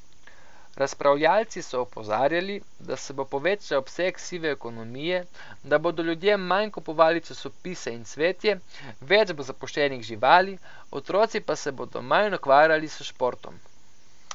Razpravljalci so opozarjali, da se bo povečal obseg sive ekonomije, da bodo ljudje manj kupovali časopise in cvetje, več bo zapuščenih živali, otroci pa se bodo manj ukvarjali s športom.